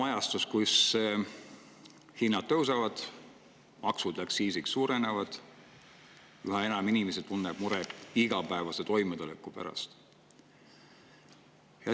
Elame ajal, kui hinnad tõusevad, maksud ja aktsiisid suurenevad ning üha enam inimesi tunneb muret igapäevase toimetuleku pärast.